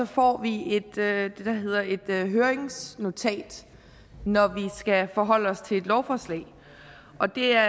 får vi det der hedder et høringsnotat når vi skal forholde os til et lovforslag og det er